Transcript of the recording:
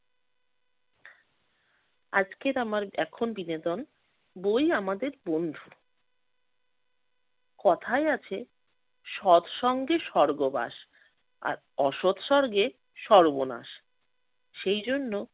আজকের আমার এখন বিনোদন, ‘বই আমাদের বন্ধু’। কথায় আছে সৎ সঙ্গে স্বর্গবাস আর, অসৎ সঙ্গে সর্বনাশ। সেই জন্য